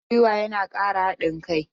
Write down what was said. Haɗin guiwa yana ƙara haɗin kai.